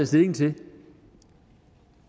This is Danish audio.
stilling til